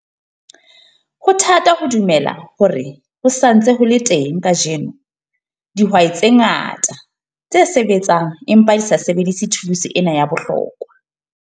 Ho thata ho dumela hore ho sa ntse ho le teng kajeno dihwai tse ngata tse sebetsang empa di sa sebedise thuluse ena ya bohlokwa.